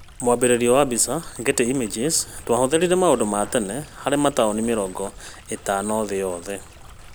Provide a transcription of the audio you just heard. Mwambĩrĩrio wa mbica: Getty Images, twathuthuririe maũndũ ma tene harĩ mataũni mĩrongo ĩtano thĩ yothe